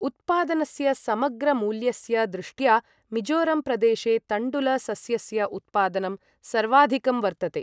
उत्पादनस्य समग्र मूल्यस्य दृष्ट्या मिज़ोरम् प्रदेशे तण्डुल सस्यस्य उत्पादनं सर्वाधिकं वर्तते।